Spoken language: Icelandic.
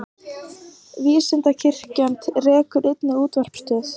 Vísindakirkjan rekur einnig útvarpsstöð.